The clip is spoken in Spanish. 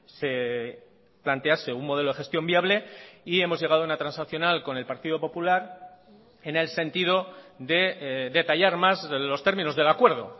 se plantease un modelo de gestión viable y hemos llegado a una transaccional con el partido popular en el sentido de detallar más los términos del acuerdo